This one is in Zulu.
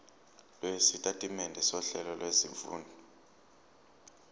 lwesitatimende sohlelo lwezifundo